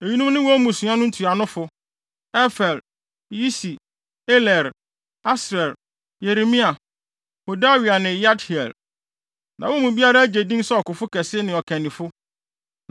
Eyinom ne wɔn mmusua no ntuanofo: Efer, Yisi, Eliel, Asriel, Yeremia, Hodawia ne Yahdiel. Na wɔn mu biara agye din sɛ ɔkofo kɛse ne ɔkannifo.